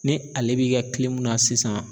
Ni ale bi kɛ na sisan